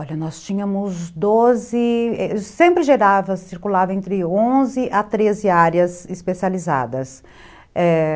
Olha, nós tínhamos doze, sempre circulava entre onze a treze áreas especializadas, é...